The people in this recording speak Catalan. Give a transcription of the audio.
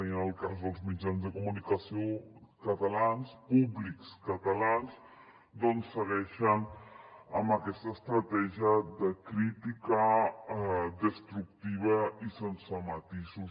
i en el cas dels mitjans de comunicació públics catalans doncs segueixen amb aquesta estratègia de crítica destructiva i sense matisos